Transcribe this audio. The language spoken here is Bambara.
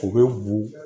U bɛ bo